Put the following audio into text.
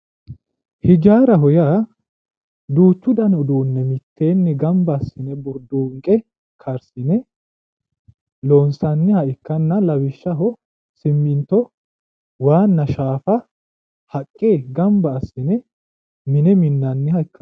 ijaaraho yaa duuchu dani uduunne mitteenni gamba assine burduunqe lawishshaho siminto waanna shaafa haqqe gamba assine mine minnanniha ikkanno.